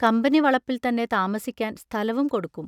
Company വളപ്പിൽത്തന്നെ താമസിക്കാൻ സ്ഥലവും കൊടുക്കും.